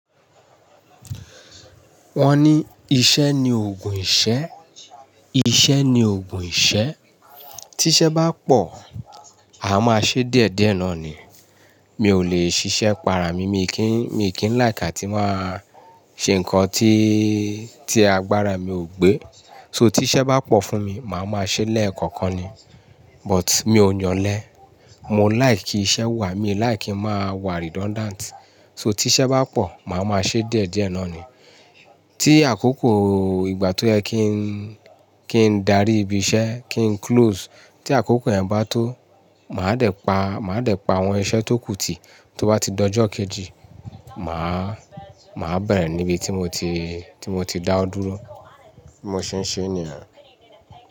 Wọ́n ní iṣẹ́ ni ògùn ìṣẹ́, iṣẹ́ ni ògùn ìṣẹ́. Tí iṣẹ́ bá pọ̀, a máa ṣe díẹ̀ díẹ̀ náà ni. Mi ò lè ṣiṣẹ́ para mi, mi kì í, mi kì í like atí máa ṣe nǹkan tí, tí agbára mi ò gbé. So tí iṣẹ́ bá pọ̀ fún mi, màá máa ṣe lẹ́ẹ̀kọ̀kan ni. But mi ò yàn lé, mo like kí iṣẹ́ wà, mi like kí ń máa wà redundant. So tí iṣẹ́ bá pọ̀, màá máa ṣe díẹ̀ díẹ̀ náà ni. Tí àkókò ìgbà tó yẹ kí n, kí n darí ibi iṣẹ́, kí n close. Tí àkókò yẹn bá tó, màá dẹ̀ pa, màá dẹ̀ pa àwọn iṣẹ́ tó kú ti tó bá ti dojo kejì, màá, màá bẹ̀rẹ̀ níbi tí mo ti, tí mo ti dáwo dúró. Mo ṣe ń ṣe ní yen.